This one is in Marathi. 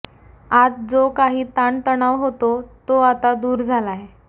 आत जो काही ताण तणाव होता तो आता दूर झालांय